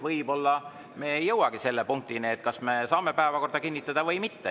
Võib-olla me ei jõuagi selleni, kas me saame päevakorda kinnitada või mitte.